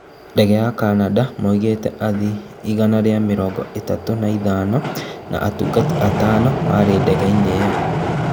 Ndege ya kambuni ya Canada moigĩte athii igana rĩa mĩrongo ĩtatũ na ithano na atungati atano marĩ ndege-inĩ ĩyo